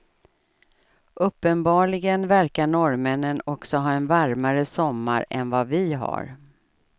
Uppenbarligen verkar norrmännen också ha en varmare sommar än vad vi har.